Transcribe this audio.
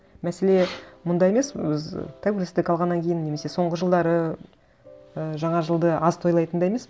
мәселе мында емес біз тәуелсіздік алғаннан кейін немесе соңғы жылдары і жаңа жылды аз тойлайтында емес